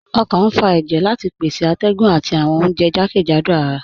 Ọkàn n fà èjẹ̀ láti pèsè àtẹ̀gùn àti awọn ọ̀unjẹ̀ jàkẹ́jádò àrà